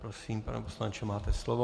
Prosím, pane poslanče, máte slovo.